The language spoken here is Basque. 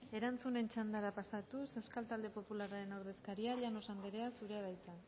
erantzunen txandara pasatuz euskal talde popularraren ordezkaria llanos anderea zurea da hitza